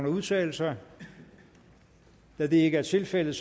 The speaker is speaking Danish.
udtale sig da det ikke er tilfældet